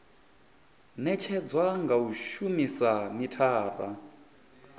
netshedzwa nga u shumisa mithara